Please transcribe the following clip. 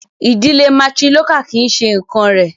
Ìdílé matrilocal kì í ṣe nǹkán rẹ̀.